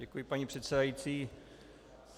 Děkuji, paní předsedající.